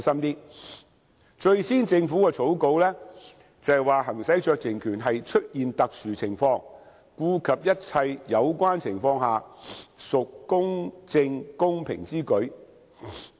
根據政府最初的草稿，行使酌情權是："出現特殊情況……顧及一切有關情況下，屬公正公平之舉"。